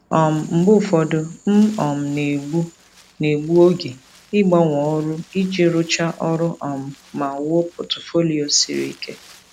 um Mgbe ụfọdụ, m um na-egbu na-egbu oge ịgbanwe ọrụ iji rụchaa ọrụ um ma wuo pọtụfoliyo siri ike.